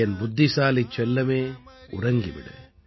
என் புத்திசாலிச் செல்லமே உறங்கி விடு